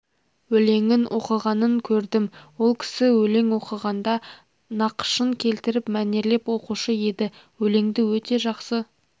өлеңін оқығанын көрдім ол кісі өлең оқығанда нақышын келтіріп мәнерлеп оқушы еді өлеңді өте жақсы